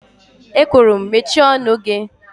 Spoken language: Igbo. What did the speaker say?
E kwuru'm mechie ọnụ gị.!